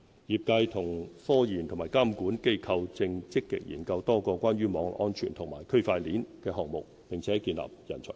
業界與科研和監管機構正積極研究多個關於網絡安全和區塊鏈的項目，並建立人才庫。